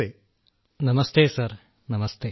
രാജേഷ് പ്രജാപതി നമസ്തേ സർ നമസ്തേ